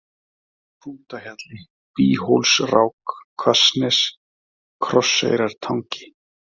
Hrútahjalli, Býhólsrák, Hvassnes, Krosseyrartangi